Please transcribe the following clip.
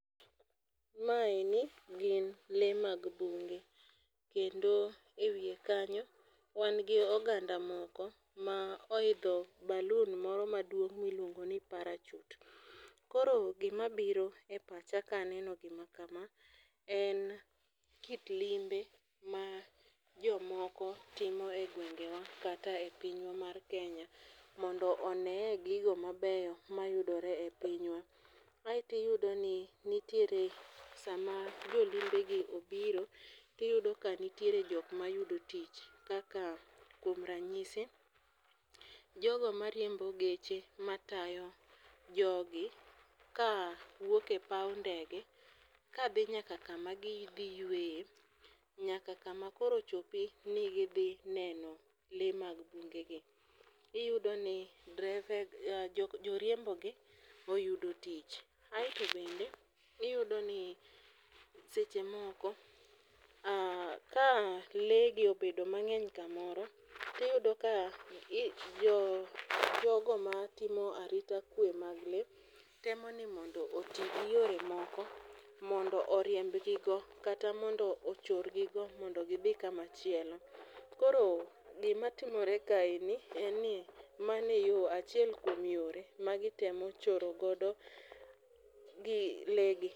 Maeni gin lee mag bunge kendo e wiye kanyo, wan gi oganda moko ma oidho balun moro maduong' miluongo ni parachut. Koro gima biro e pacha kaneno gima kama en kit limbe ma jomoko timo e gwengewa kata e pinywa mar kenya mondo oneye gigo mabeyo mayudore e pinywa. Aeti yudo ni nitiere sama jolimbe gi obiro tiyduo ka nitiere jok mayudo tich kaka kuom ranyisi jogo mariembo geche matayo jogi ka wuoke paw ndege kadhi nyaka kama gidhi yweye nyaka kama koro chopi ni gidhi neno lee mag bunge gi .Iyudo ni drepe joriembo gi oyudo tich aeto bende iyudo ni seche moko ka lee gi obedo mang'eny kamoro tiyudo ka jo jogo ma timo arita kwe mag lee temo ni mondo oti gi yore moko mondo oriemb gigo kata mondo ochor gigo gidhi kuma chielo. Koro gima timore kae ni en ni mane yo achiel kuom yore ma gitemo choro godo gi lee gi.